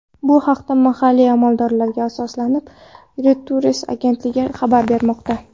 Bu haqda mahalliy amaldorlarga asoslanib, Reuters agentligi xabar bermoqda .